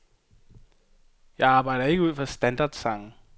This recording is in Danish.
Jeg arbejder ikke ud fra standardsange.